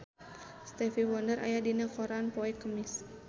Stevie Wonder aya dina koran poe Kemis